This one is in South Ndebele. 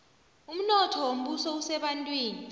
umnotho wombuso usebantwini